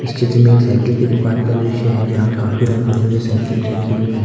चित्र में एक साइकिल की दुकान का दृश्य है जहां काफी रंग बिरंगी साइकिल रखी हुई है।